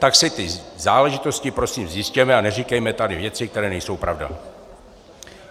Tak si ty záležitosti prosím zjistěme a neříkejme tady věci, které nejsou pravda.